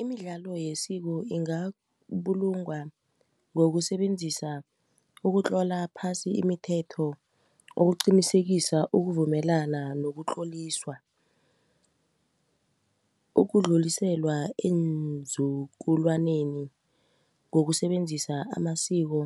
Imidlalo yesiko ingabulungwa ngokusebenzisa ukutlola phasi imithetho ukuqinisekisa ukuvumelana nokutloliswa. Ukudluliselwa eenzukulwaneni ngokusebenzisa amasiko